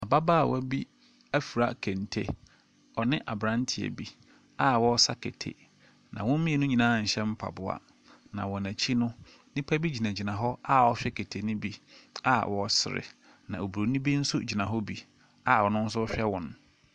Ababaawa bi afura kente. Ɔne abranteɛ bi a wɔresa kete. Na wɔn mmienu nyinaa nhyɛ maboa. Na wɔn akyi no, nnipa no bi gyinagyina hɔ a wɔrehwɛ kete no bi a wɔresre na Oburoni bi nso gyina hɔ bi a ɔno nso rehwɛ wɔn.